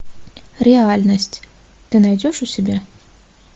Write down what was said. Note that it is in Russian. реальность ты найдешь у себя